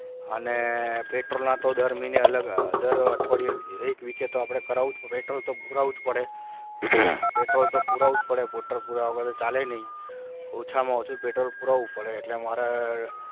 અને petrol લના તો દર મહિને અલગ દર અઠવાડિયે એક વીકે તો આપણે કરાવું છું petrol લ તો પુરાવું જ પડે પેટ્રોલ તો પુરાવું જ પડે petrol લ પુરાયા વગર ચાલે નહીં ઓછામાં ઓછું petrol લ પુરાવું પડે એટલે મારે